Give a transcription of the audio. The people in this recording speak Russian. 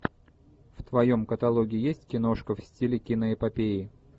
в твоем каталоге есть киношка в стиле киноэпопеи